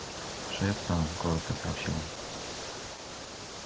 шеф там коротко сообщил он